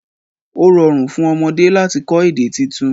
O rọ̀run fún ọmọdé lati kọ̀ èdè títún